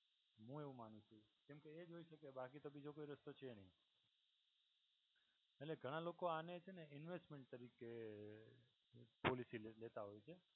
હું એવું માનું છું કેમ કે એજ હોય છે કઈ બાકી તો બીજો કોઈ રસ્તો છે નહિ. એટલે ઘણા લોકો આને છે ને invest તરીકે પોલિસી લેતા હોય છે.